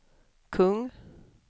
kung